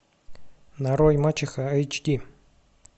нарой мачеха эйч ди